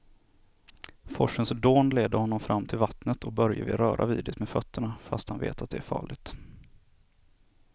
Forsens dån leder honom fram till vattnet och Börje vill röra vid det med fötterna, fast han vet att det är farligt.